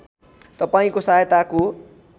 तपाईँको सहायताको